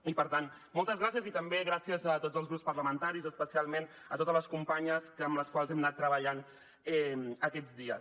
i per tant moltes gràcies i també gràcies a tots els grups parlamentaris especialment a totes les companyes amb les quals hem anat treballant aquests dies